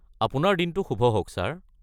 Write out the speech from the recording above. আপোনাৰ দিনটো শুভ হওক ছাৰ!